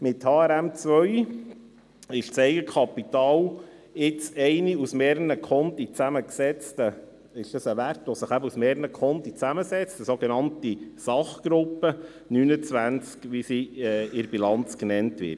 Mit HRM2 ist das Eigenkapital ein Wert, der sich aus mehreren Konten zusammensetzt, die sogenannte Sachgruppe 29, wie sie in der Bilanz genannt wird.